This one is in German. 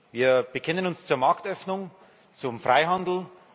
Wir bekennen uns zur Marktöffnung, zum Freihandel.